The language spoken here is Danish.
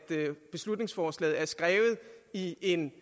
beslutningsforslaget er skrevet i en